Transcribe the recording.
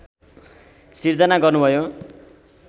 सिर्जना गर्नुभयो